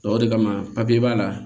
o de kama b'a la